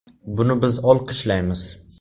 Buni biz olqishlaymiz.